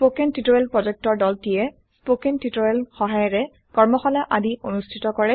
কথন শিক্ষণ প্ৰকল্পৰ দলটিয়ে কথন শিক্ষণ সহায়িকাৰে কৰ্মশালা আদি অনুষ্ঠিত কৰে